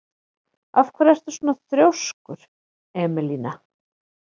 Af hverju ertu svona þrjóskur, Emelína?